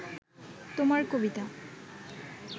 তোমার কবিতা